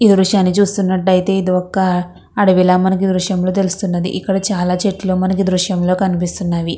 ఈ దృశ్యాన్ని చూసినట్లయితే ఇది ఒక్క అడవిలో మనకి ఈ దృశ్యంలో తెలుస్తున్నది ఇక్కడ చాలా చెట్లు మనకి దృశ్యం లో కనిపిస్తున్నవి.